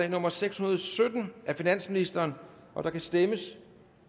nummer seks hundrede og sytten af finansministeren der kan stemmes